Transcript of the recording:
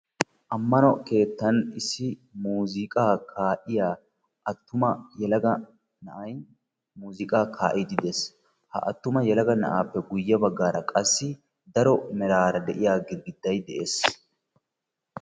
Ammano keettan issi muuziikaa kaa'iya attuma yelaga na'ay muuziiqaa kaa'iiddi de'ees. Ha attuma yelaga na'aappe guyye baggaara qassi daro meraara de'iya girigidday de'ees.